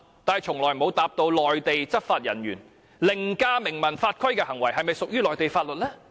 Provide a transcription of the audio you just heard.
但是，從來沒有回答我們，對於內地執法人員凌駕明文法規的行為，是否屬於內地法律？